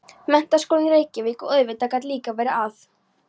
Menntaskólinn í Reykjavík, og auðvitað gat líka verið að